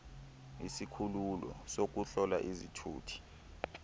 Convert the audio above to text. izikhululo zokuhlola izithuthi